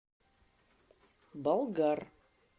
болгар